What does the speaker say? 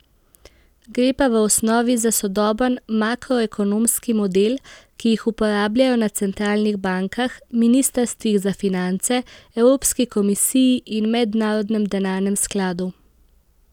Gre pa v osnovi za sodoben makroekonomski model, ki jih uporabljajo na centralnih bankah, ministrstvih za finance, evropski komisiji in Mednarodnem denarnem skladu.